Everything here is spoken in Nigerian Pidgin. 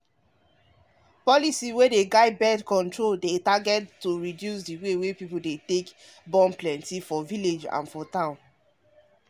government health policy dey finance how dem dey share family planning thingsfor inside village and for city.